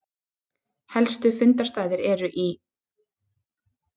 Helstu fundarstaðir eru í